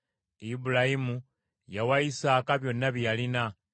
Ibulayimu yawa Isaaka byonna bye yalina.